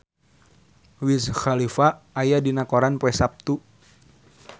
Wiz Khalifa aya dina koran poe Saptu